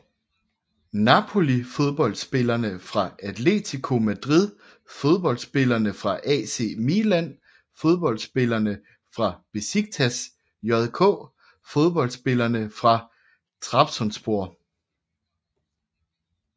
Napoli Fodboldspillere fra Atlético Madrid Fodboldspillere fra AC Milan Fodboldspillere fra Beşiktaş JK Fodboldspillere fra Trabzonspor